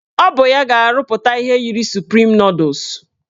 Ọ bụ ya ga-arụpụta ihe yiri suprim nọdụs